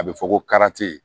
A bɛ fɔ ko